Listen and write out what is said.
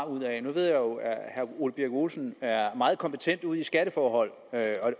nu ved jeg jo at herre ole birk olesen er meget kompetent ud i skatteforhold